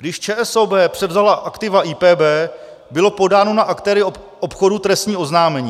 Když ČSOB převzala aktiva IPB, bylo podáno na aktéry obchodu trestní oznámení.